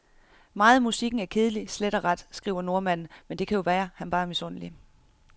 Meget af musikken er kedelig, slet og ret, skriver nordmanden, men det kan jo være, han bare er misundelig.